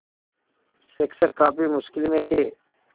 शिक्षक काफ़ी मुश्किल में थे